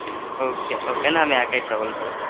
Okay okay না আমি একাই travel করব।